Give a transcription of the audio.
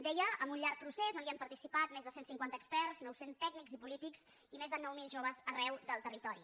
deia amb un llarg procés on han participat més de cent cinquanta experts nou cents tècnics i polítics i més de nou mil joves arreu del territori